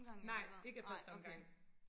Nej ikke af første omgang